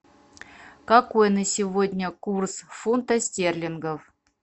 какой на сегодня курс фунта стерлингов